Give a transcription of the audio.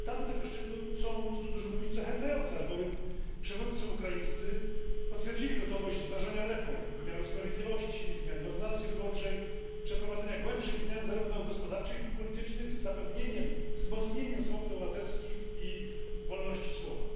Rezultaty tego szczytu są co tu dużo mówić zachęcające, albowiem przywódcy ukraińscy potwierdzili gotowość wdrażania reform wymiaru sprawiedliwości, zmiany w ordynacji wyborczej, przeprowadzenia większych zmian zarówno gospodarczych, jak i politycznych, z zapewnieniem wzmocnienia swobód obywatelskich i wolności słowa.